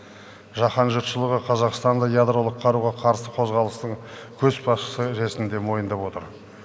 жаһан жұртшылығы қазақстанды ядролық қаруға қарсы қозғалыстың көшбасшысы ретінде мойындап отыр